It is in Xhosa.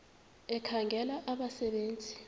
ekhangela abasebe nzi